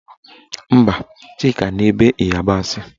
Mba, Chika na-ebe ịyabasị